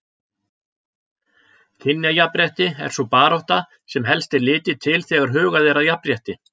Kynjajafnrétti er sú barátta sem helst er litið til þegar hugað er að jafnrétti.